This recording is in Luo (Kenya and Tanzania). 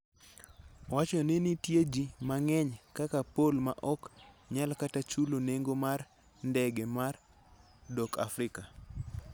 Owacho ni nitie ji mang'eny kaka Paul ma ok nyal kata chulo nengo mar ndege mar dok Afrika.